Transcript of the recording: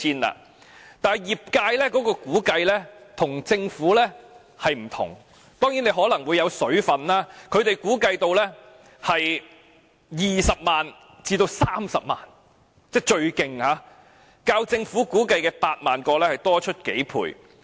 可是，業界的估計與政府有異——當然，當中可能包含"水分"——他們估計最多涉及20萬至30萬個龕位，較政府估計的8萬個多出數倍。